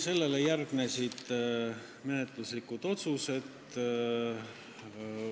Sellele järgnesid menetluslikud otsused.